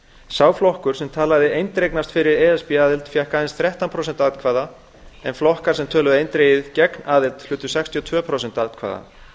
sá flokkur sem talaði eindregnast fyrir e s b aðild fékk aðeins þrettán prósent atkvæða en flokkar sem töluðu eindregið gegn aðild hlutu sextíu og tvö prósent atkvæða